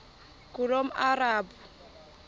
ngulomarabu